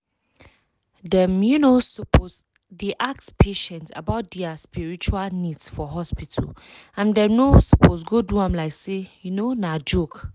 dem um suppose dey ask patient about dia spiritual needs for hospital and dem no suppose go do am like say um na joke.